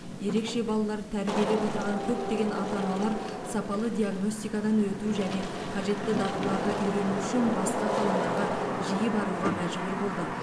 ерекше балалар тәрбиелеп отырған көптеген ата аналар сапалы диагностикадан өту және қажетті дағдыларды үйрену үшін басқа қалаларға жиі баруға мәжбүр болды